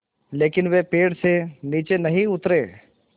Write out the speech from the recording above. लेकिन वे पेड़ से नीचे नहीं उतरे